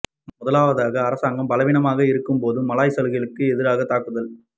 முதலாவதாக அரசாங்கம் பலவீனமாக இருக்கும் போது மலாய் சலுகைகளுக்கு எதிராக தாக்குதல்கள்